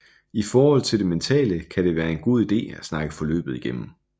I forhold til det mentale kan det være en god ide at snakke forløbet igennem